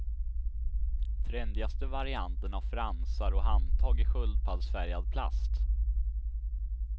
Trendigaste varianten har fransar och handtag i sköldpaddsfärgad plast.